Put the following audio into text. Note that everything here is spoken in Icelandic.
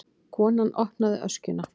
Konan opnaði öskjuna.